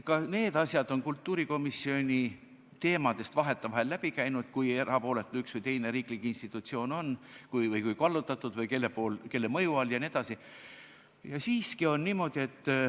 Ka need teemad on kultuurikomisjoni aruteludest vahetevahel läbi käinud – see, kui erapooletu üks või teine riiklik institutsioon on või kui kallutatud või kelle mõju all ta on jne.